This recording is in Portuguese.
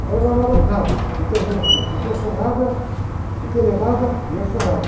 E tárárárá, nada, e termina assim, porque eu sou nada, porque ele é nada e eu sou nada.